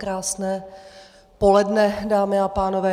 Krásné poledne, dámy a pánové.